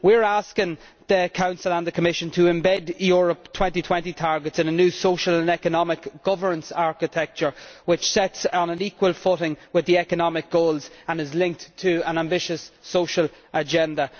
We are asking the Council and the Commission to embed Europe 2020 targets in a new social and economic governance architecture which sits on an equal footing with the economic goals and is linked to an ambitious social agenda.